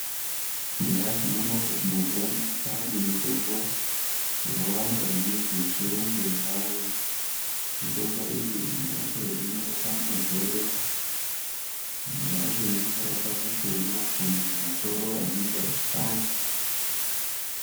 Eya tinoona kuti mazuwaano kwaane mitombo yakawanda maningi yechirungu yavayo mitombo iyi imwe yacho ino rapa magodo imwe yacho inongo rapa mushunha kana masoro anenge achipanda.